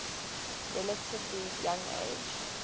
relatively young age